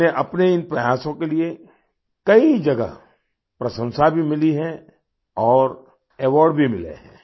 उन्हें अपने इस प्रयासों के लिए कई जगह प्रशंसा भी मिली है और अवार्ड भी मिले हैं